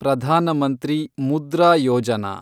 Pradhan Mantri Mudra Yojana